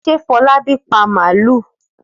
Fọlábí pa màlúù?